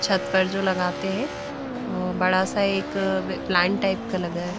छत पर जो लगाते हैं वो बड़ा सा एक प्लांट टाइप का लगा है।